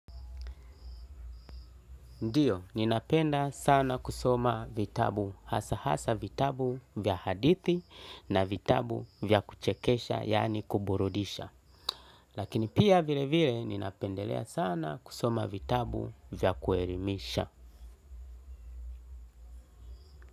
Ndiyo, ninapenda sana kusoma vitabu hasa hasa vitabu vya hadithi na vitabu vya kuchekesha yaani kuburudisha. Lakini pia vile vile ninapendelea sana kusoma vitabu vya kuerimisha.